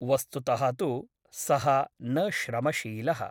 वस्तुतः तु सः न श्रमशीलः ।